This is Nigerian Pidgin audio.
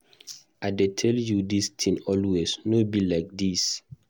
I dey tell you dis thing always, no be like dis.